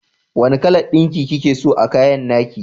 Wanna kalan ɗinki kikeso a kayan nake?